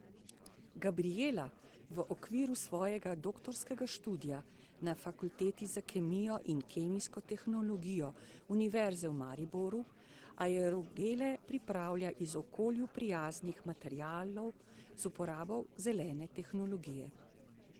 Gabrijela v okviru svojega doktorskega študija na Fakulteti za kemijo in kemijsko tehnologijo Univerze v Mariboru aerogele pripravlja iz okolju prijaznih materialov z uporabo zelene tehnologije.